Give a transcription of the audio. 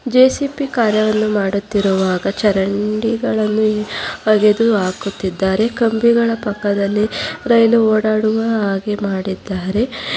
JCP ಕಾರ್ಯವನ್ನು ಮಾಡುತ್ತಿರುವಾಗ ಚರಂಡಿಗಳನ್ನು ಹಗೆದು ಹಾಕುತ್ತಿದ್ದಾರೆ ಕಂಬಿಗಳ ಪಕ್ಕದಲ್ಲಿ ರೈಲು ಓಡಾಡುವ ಹಾಗೆ ಮಾಡಿದ್ದಾರೆ.